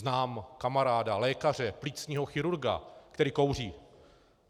Znám kamaráda, lékaře, plicního chirurga, který kouří.